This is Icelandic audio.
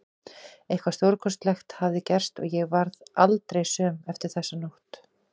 Eitthvað stórkostlegt hafði gerst og ég varð aldrei söm eftir þessa nótt.